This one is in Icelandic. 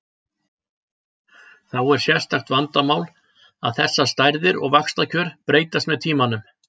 Þá er sérstakt vandamál að þessar stærðir og vaxtakjör breytast með tímanum.